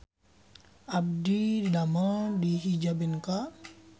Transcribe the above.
Abdi didamel di Hijabenka